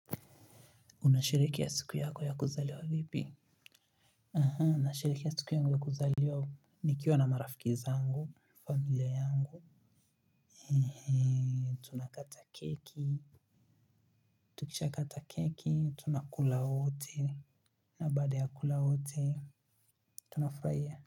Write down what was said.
Unasherekea ya siku yako ya kuzaliwa vipi? Nasherekea ya siku yangu ya kuzaliwa. Nikiwa na marafiki zangu familia yangu tunakata keki tukisha kata keki tunakula wote na baada ya kula wote tunafurahia.